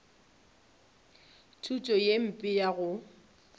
thuto ye mpe ya go